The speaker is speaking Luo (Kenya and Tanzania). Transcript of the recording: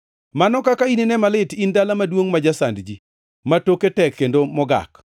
Mano kaka inine malit in dala maduongʼ ma jasand ji, ma toke tek kendo mogak.